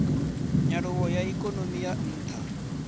nyaluwo ya ikonomi ya ntha